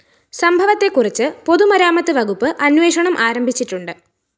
സംഭവത്തെക്കുറിച്ച് പൊതുമരാമത്ത് വകുപ്പ് അന്വേഷണം ആരംഭിച്ചിട്ടുണ്ട്